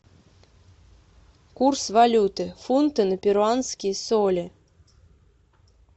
курс валюты фунты на перуанские соли